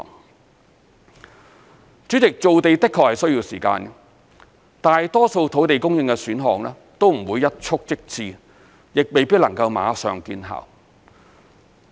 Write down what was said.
代理主席，造地的確需要時間，大多數土地供應選項都不會一蹴即至，亦未必能夠馬上見效。